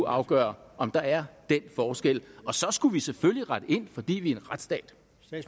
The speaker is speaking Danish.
afgøre om der er den forskel og så skulle vi selvfølgelig rette ind fordi vi er en retsstat